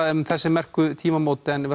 um þessi merku tímamót en við